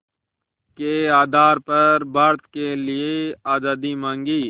के आधार पर भारत के लिए आज़ादी मांगी